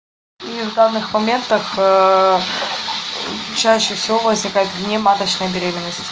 у них в данных моментах чаще всего возникает внематочная беременность